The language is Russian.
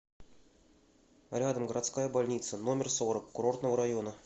рядом городская больница номер сорок курортного района